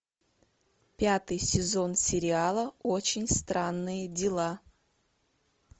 пятый сезон сериала очень странные дела